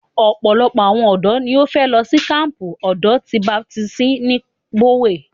Ọ̀pọ̀lọpọ̀ àwọn ọ̀dọ́ ní a fẹ́ lọ sí kampu ọ̀dọ́ ti baptisi ní Bowen.